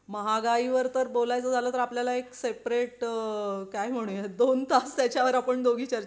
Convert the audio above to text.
महागाई वर तर बोललचं झालं तर आपल्या ला एक सेपरेट काय म्हणूया दोन तास त्याच्या वर आपण दोघी चर्चा